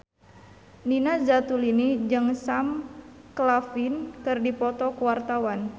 Nina Zatulini jeung Sam Claflin keur dipoto ku wartawan